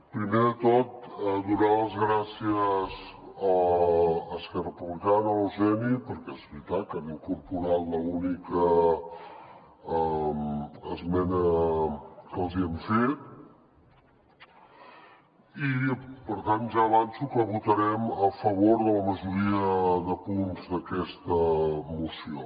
primer de tot donar les gràcies a esquerra republicana a l’eugeni perquè és veritat que han incorporat l’única esmena que els hi hem fet i per tant ja avanço que votarem a favor de la majoria de punts d’aquesta moció